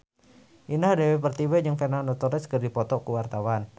Indah Dewi Pertiwi jeung Fernando Torres keur dipoto ku wartawan